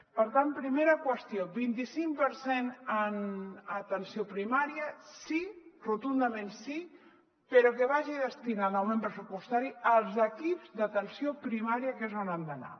per tant primera qüestió vint i cinc per cent en atenció primària sí rotundament sí però que vagi destinat l’augment pressupostari als equips d’atenció primària que és on han d’anar